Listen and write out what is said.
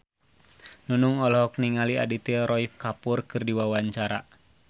Nunung olohok ningali Aditya Roy Kapoor keur diwawancara